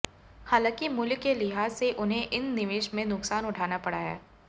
हालांकि मूल्य के लिहाज से उन्हें इन निवेश में नुकसान उठाना पड़ा है